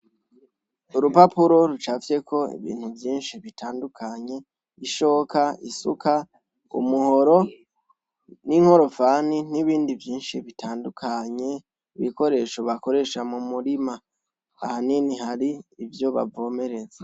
Urupapuro rucafye ko ibintu vyinshi bitandukanye ishoka isuka umuhoro n'inkorofani n'ibindi vyinshi bitandukanye ibikoresho bakoresha mu murima ahanini hari ivyo bavomereza.